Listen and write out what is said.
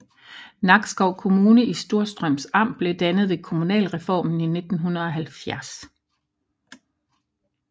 Nakskov Kommune i Storstrøms Amt blev dannet ved kommunalreformen i 1970